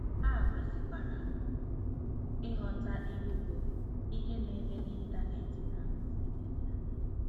Ha kwesịkwara ịghọta ilu bụ́, Ihe na-eme n'Ịntanet na-akwusi n'Ịntanet